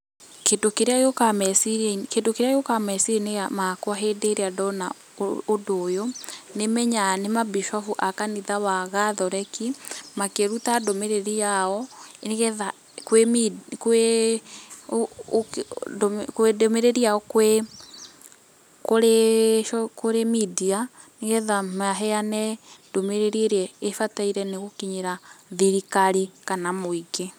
Kĩndũ kĩrĩa gĩũkaga meciria, kĩndũ kĩrĩa gĩũkaga meciria -inĩ makwa hĩndĩ ĩrĩa ndona ũndũ ũyũ, nĩmenyaga nĩ mambicobu a kanitha wa gathoreki, makĩruta ndũmĩrĩri yao nĩgetha, kwĩ , kũrĩ [media] , nĩgetha maheane ndũmĩrĩri ĩrĩa ĩbataire nĩ gũkinyĩra thirikari kana mũingĩ.